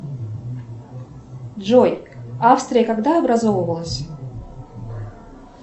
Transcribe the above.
джой австрия когда образовывалась